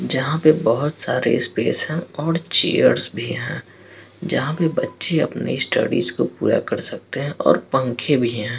जहाँ पे बहुत सारे स्पेस हैं और चेयर्स भी हैं जहाँ पे बच्चे अपनी स्टडीज को पूरा कर सकते हैं और पंखे भी हैं।